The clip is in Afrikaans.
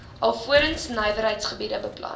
alvorens nywerheidsgebiede beplan